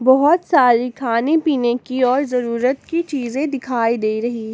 बहुत सारी खाने पीने की और जरूरत की चीजें दिखाई दे रही हैं।